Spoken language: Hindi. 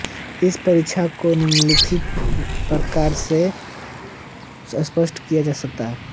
इस परीक्षा को निम्नलिखित प्रकार से स्पष्ट किया जा सकता है